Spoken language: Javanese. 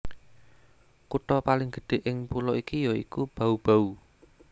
Kutha paling gedhé ing pulo iki ya iku Bau Bau